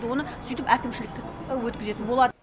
оны сөйтіп әкімшілікке өткізетін болады